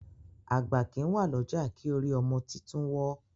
àgbà kín wá l'ọja kí orí ọmọ títún wò.